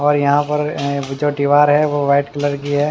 और यहां पर जो दीवार है वह व्हाइट कलर की है।